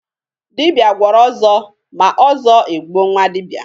Dibịa gwọrọ ọzọ, ma ọzọ e gbuo nwa dibịa